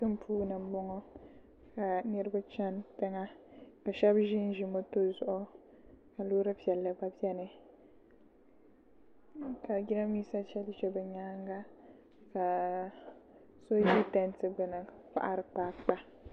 Tiŋ puuni n boŋo ka niraba chɛni tiŋa ka shab ʒinʒi moto zuɣu ka loori piɛlli gba bɛni ka jiranbiisa ʒɛnʒɛ di nyaanga ka so ʒi tanti gbuni n kohari kpaakpa